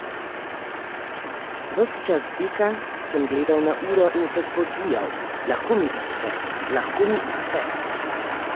Ves čas teka sem gledal na uro in se spodbujal: 'lahko mi uspe, lahko mi uspe'.